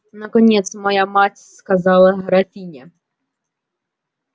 наконец мать моя сказала графиня